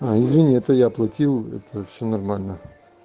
извини это я оплатил это все нормально